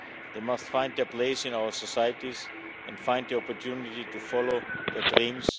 They must find their place in our societies and find the opportunity to follow their dreams.